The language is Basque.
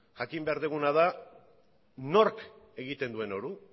jakin behar duguna da nork egiten duen hori